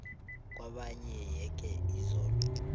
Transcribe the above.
kwabanye yeke iziko